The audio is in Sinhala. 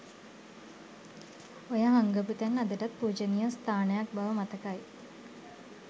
ඔය හංගපු තැන අදටත් පූජනීය ස්ථානයක් බව මතකයි.